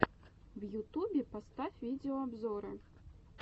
в ютубе поставь видеообзоры